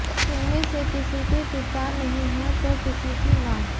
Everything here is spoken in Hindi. इनमें से किसी के पिता नहीं हैं तो किसी की मां